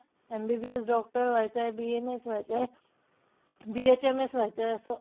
MBBS doctor व्हायचंय, BMS व्हायचंय, BHMS व्हायचंय असं.